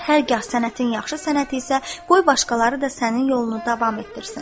Hərgah sənətin yaxşı sənət isə, qoy başqaları da sənin yolunu davam etdirsin.